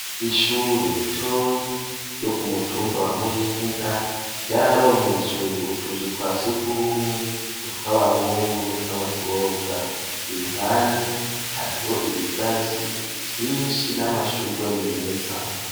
Ishure ritoya ryo ku mutumba wa Muyinga ryararonkejwe utuzu twa surwumwe, utw'abahungu n'utw'abakobwa. Iruhande, hariho ibigazi vyinshi n'amashurwe meza.